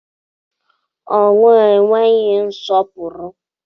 Ọnwụ enweghị nsọpụrụ.